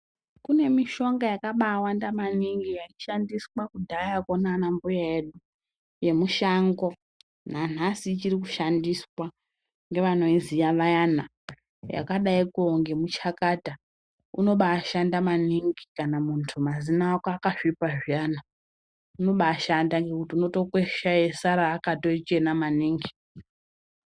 Kunemishonga yakaba wanda maningi yaishandiswa kudhaya ko nana mbuya edu yemushango nanhasi ichiri kushandiswa ngevanoiziya vayana yakadai ko ngemuchakata unoba shanda maningi kana mundu mazino ako akasvipa zviyana unoba shanda ngekuti unotokwesha eyisara akatochena maningi